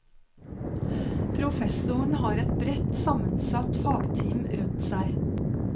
Professoren har et bredt sammensatt fagteam rundt seg.